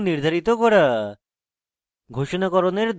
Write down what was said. array তে value ঘোষিত এবং নির্ধারিত করা